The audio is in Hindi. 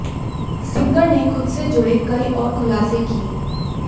सिंगर ने खुद से जुड़े कई और खुलासे किए